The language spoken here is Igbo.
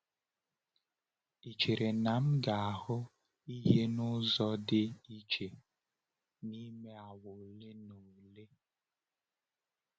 Ị chere na m ga-ahụ ihe n’ụzọ dị iche n’ime awa ole na ole?